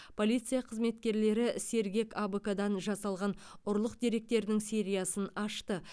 полиция қызметкерлері сергек абк дан жасалған ұрлық деректерінің сериясын ашты